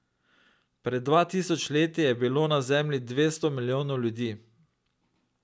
Pred dva tisoč leti je bilo na Zemlji dvesto milijonov ljudi.